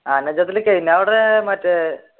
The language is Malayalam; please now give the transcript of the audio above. ഞാൻ അവിടെ മറ്റേ